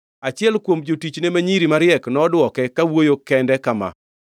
Achiel kuom jotichne ma nyiri mariek nodwoke; kawuoyo kende kama: